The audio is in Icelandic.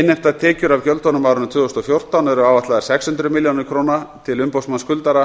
innheimtar tekjur af gjöldunum á árinu tvö þúsund og fjórtán eru áætlaðar sex hundruð milljón krónur til umboðsmanns skuldara